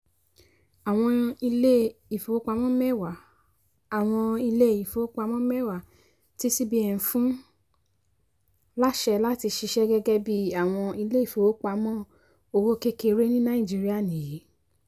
àwọn ilé-ifowopamọ mẹ́wàá àwọn ilé-ifowopamọ mẹ́wàá tí cbn fún láṣẹ láti ṣiṣẹ́ gẹ́gẹ́ bí àwọn ilé-ìfowópamọ́ owó kékeré ní nàìjíríà nìyí